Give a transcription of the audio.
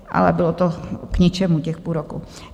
Ale bylo to k ničemu, těch půl roku.